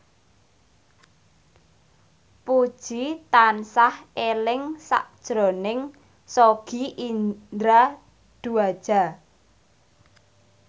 Puji tansah eling sakjroning Sogi Indra Duaja